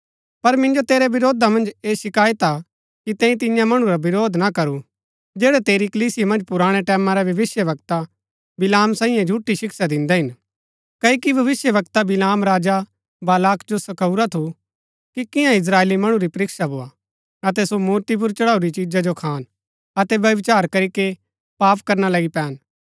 पर मिन्जो तेरै विरोधा मन्ज ऐह शिकायत हा कि तैंई तिन्या मणु रा विरोध ना करू जैड़ै तेरी कलीसिया मन्ज पुराणै टैमां रै भविष्‍यवक्ता बिलाम सांईये झूठी शिक्षा दिन्दै हिन क्ओकि भविष्‍यवक्ता बिलाम राजा बालाक जो सखाऊरा थू कि कियां इस्त्राएली मणु री परिक्षा भोआ अतै सो मूर्ति पुर चढ़ाऊरी चिजा जो खान अतै व्यभिचार करीके पाप करना लगी पैन